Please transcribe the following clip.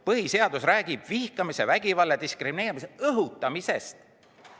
Põhiseadus räägib vihkamise, vägivalla ja diskrimineerimise õhutamisest.